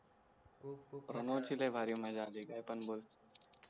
प्रमोद ची लय भारी मजा अली काय पण बोल